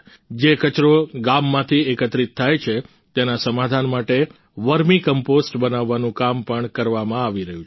જે કચરો ગામમાંથી એકત્રિત થાય છે તેના સમાધાન માટે વર્મી કમ્પોસ્ટ બનાવવાનું કામ પણ કરવામાં આવી રહ્યું છે